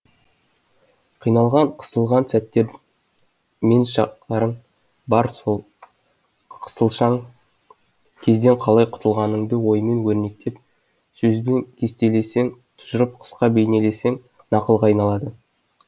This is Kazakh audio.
қиналған қысылған сәттерің мен шақтарың бар сол қысылшаң кезден қалай құтылғаныңды оймен өрнектеп сөзбен кестелесең тұжырып қысқа бейнелесең нақылға айналады